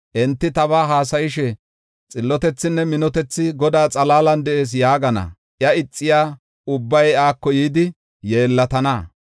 Enti tabaa haasayishe, ‘Xillotethinne minotethi Godaa xalaalan de7ees’ yaagana. Iya ixiya ubbay iyako yidi yeellatana.